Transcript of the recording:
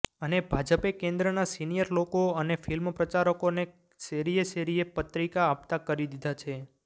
અને ભાજપે કેન્દ્રના સિનિયર લોકો અને ફિલ્મ પ્રચારકોને શેરીએ શેરીએ પત્રિકા આપતાં કરી દીધા છે